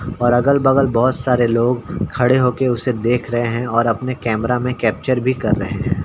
और अगल-बगल बहुत सारे लोग खड़े होके उसे देख रहें हैं और अपने कैमरा में कैप्चर भी कर रहें हैं।